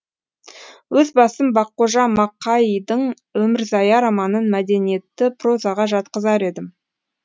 өз басым баққожа мақаидың өмірзая романын мәдениетті прозаға жатқызар едім